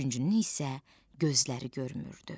Üçüncünün isə gözləri görmürdü.